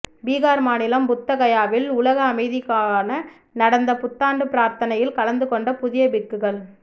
பிகார் மாநிலம் புத்த கயாவில் உலக அமைதிக்கான நடந்த பு்த்தாண்டு பிரார்த்தனையில் கலந்து கொண்ட புதிய பிக்குகள்